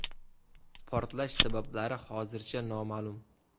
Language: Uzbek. Portlash sabablari hozircha noma’lum.